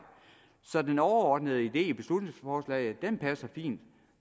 så den overordnede idé i beslutningsforslaget passer fint